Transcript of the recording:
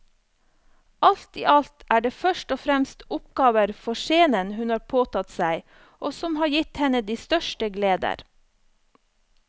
Alt i alt er det først og fremst oppgaver for scenen hun har påtatt seg og som har gitt henne de største gleder.